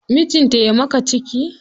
Mijinta ya maka ciki.